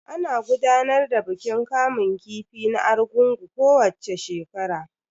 Ana gudanar da bikin kamun kifi na argungun kowacce shekara.